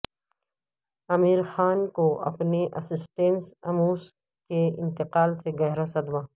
عامر خان کو اپنے assistant Amos کے انتقال سے گہرا صدمہ